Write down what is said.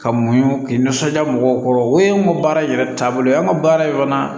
Ka muɲu k'i nisɔndiya mɔgɔw kɔrɔ o ye anw ka baara in yɛrɛ taabolo ye anw ka baara in kɔnɔna na